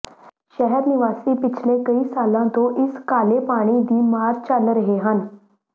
ਸ਼ਹਿਰ ਨਿਵਾਸੀ ਪਿਛਲੇ ਕਈ ਸਾਲਾਂ ਤੋਂ ਇਸ ਕਾਲੇ ਪਾਣੀ ਦੀ ਮਾਰ ਝੱਲ ਰਹੇ ਹਨ